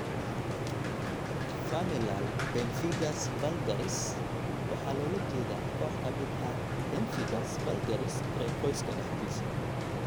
Familial pemphigus vulgaris waxaa loola jeedaa koox ka mid ah pemphigus vulgaris ee qoyska dhexdiisa.